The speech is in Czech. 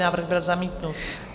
Návrh byl zamítnut.